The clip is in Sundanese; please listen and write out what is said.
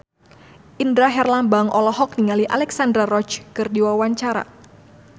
Indra Herlambang olohok ningali Alexandra Roach keur diwawancara